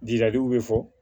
bɛ fɔ